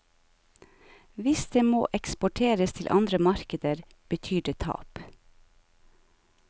Hvis det må eksporteres til andre markeder, betyr det tap.